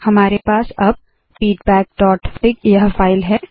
हमारे पास अब feedbackफिग यह फाइल है